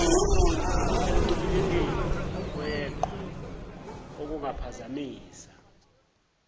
ekuncibilikeni kweqhwa okungaphazamisa